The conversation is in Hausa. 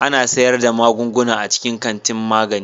Ana sayar da magunguna a cikin kantin magani.